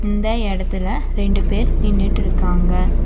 இந்த இடத்துல ரெண்டு பேர் நின்னுட்டுருக்காங்க.